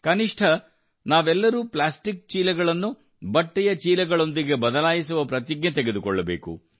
ಕನಿಷ್ಠ ನಾವೆಲ್ಲರೂ ಪ್ಲಾಸ್ಟಿಕ್ ಚೀಲಗಳನ್ನು ಬಟ್ಟೆಯ ಚೀಲಗಳೊಂದಿಗೆ ಬದಲಾಯಿಸುವ ಪ್ರತಿಜ್ಞೆಯನ್ನು ತೆಗೆದುಕೊಳ್ಳಬೇಕು